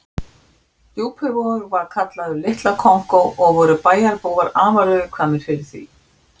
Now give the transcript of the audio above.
Djúpivogur var kallaður Litla Kongó og voru bæjarbúar afar viðkvæmir fyrir því.